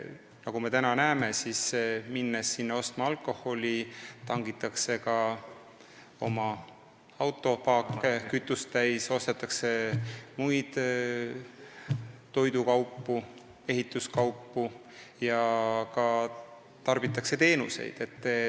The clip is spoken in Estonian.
Nagu me näeme, kui minnakse Lätti alkoholi ostma, siis tangitakse ka autopaak kütust täis, ostetakse toidukaupu ja ehituskaupu ning tarbitakse teenuseid.